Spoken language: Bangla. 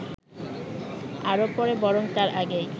আরো পরে বরং তার আগেই